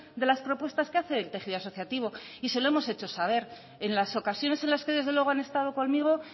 de las propuestas que hace el tejido asociativo y se lo hemos hecho saber en las ocasiones en las que desde luego han estado conmigo